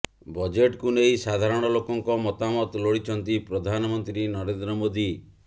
ବଜେଟ୍କୁ ନେଇ ସାଧାରଣ ଲୋକଙ୍କ ମତାମତ ଲୋଡିଛନ୍ତି ପ୍ରଧାନମନ୍ତ୍ରୀ ନରେନ୍ଦ୍ର ମୋଦି